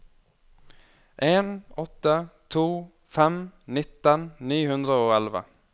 en åtte to fem nitten ni hundre og elleve